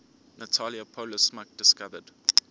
natalia polosmak discovered